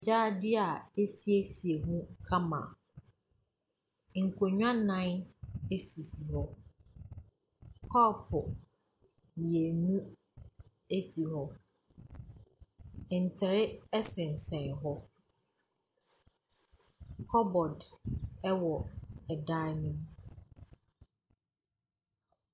Gyaade a wɔasiesie mu kama. Nkonnwa nnan sisi hɔ. Kɔpo mmienu si hɔ. Ntere sensɛn hɔ. Cupboard wɔ dan no mu.